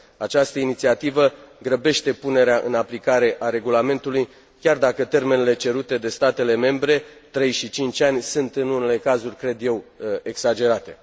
Această inițiativă grăbește punerea în aplicare a Regulamentului, chiar dacă termenele cerute de statele membre, trei și cinci ani sunt, în unele cazuri, cred eu, exagerate.